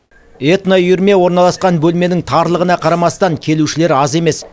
этноүйірме орналасқан бөлменің тарлығына қарамастан келушілер аз емес